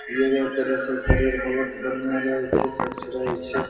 योगा करे से शरीर बहुत बढ़िया रहे छै स्वच्छ रहे छै।